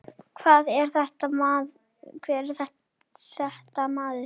Hvað er þetta maður?